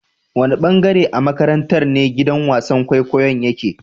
Wanne ɓangare a maƙarantar ne giɗan wasan ƙwaiƙwayon yaƙe.?